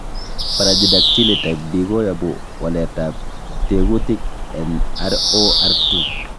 Brachydactyly type B koyobu waletab tekutik en ROR2.